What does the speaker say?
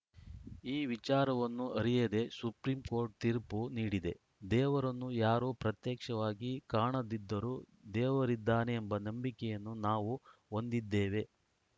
ಈ ವಿಚಾರವನ್ನು ಅರಿಯದೇ ಸುಪ್ರೀಂಕೋರ್ಟ್‌ ತೀರ್ಪು ನೀಡಿದೆ ದೇವರನ್ನು ಯಾರೂ ಪ್ರತ್ಯಕ್ಷವಾಗಿ ಕಾಣದಿದ್ದರೂ ದೇವರಿದ್ದಾನೆ ಎಂಬ ನಂಬಿಕೆಯನ್ನು ನಾವು ಹೊಂದಿದ್ದೇವೆ